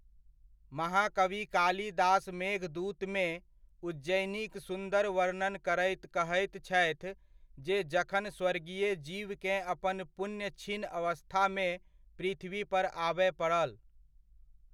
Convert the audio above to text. महाकवि कालिदास मेघदूतमे, उज्जयिनीक सुन्दर वर्णन करैत कहैत छथि जे जखन स्वर्गीय जीवकेँ अपन पुण्य क्षीण अवस्थामे पृथ्वीपर आबय पड़ल।